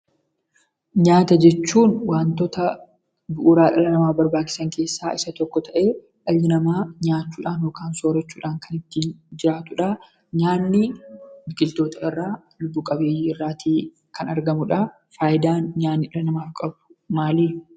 Nyaata jechuun, waantota bu'uuraa dhala namaatiif barbaachisan keessaa isa tokko ta'ee, dhalli namaa nyaachuudhaan yookaan soorrachuudhaan kan itti jiratudha. Nyaanni biqiltoota irraa, lubbu qabeeyyii irraa kan argamudha. Fayidaan nyaanni dhala namaatiif qabu maali?